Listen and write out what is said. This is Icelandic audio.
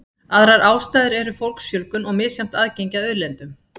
Aðrar ástæður eru fólksfjölgun og misjafnt aðgengi að auðlindum.